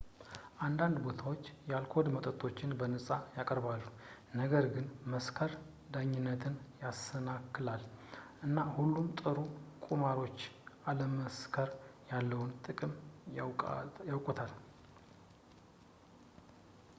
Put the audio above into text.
አንዳንድ ቦታዎች የአልኮል መጠጦችን በነፃ ያቀርባሉ ነገር ግን መስከር ዳኝነትን ያሰናክላል እና ሁሉም ጥሩ ቁማርተኞች አለመስከር ያለውን ጥቅም ያውቁታል